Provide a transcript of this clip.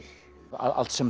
allt sem